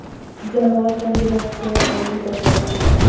Jamoa kombinatsion o‘yin ko‘rsatmoqda.